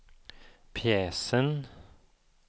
pjäsen